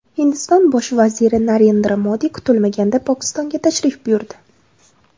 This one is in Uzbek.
Hindiston bosh vaziri Narendra Modi kutilmaganda Pokistonga tashrif buyurdi.